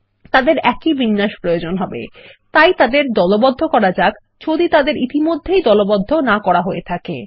তাদের একই বিন্যাস প্রয়োজন হবে তাই তাদের দলবদ্ধ করা যাক যদি তাদের ইতিমধ্যেই দলবদ্ধ না করা থাকে